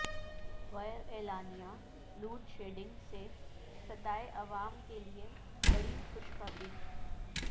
غیر اعلانیہ load shedding سے ستائے عوام کیلئے بڑی خوشخبری